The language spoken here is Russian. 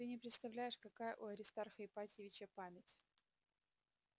ты не представляешь какая у аристарха ипатьевича память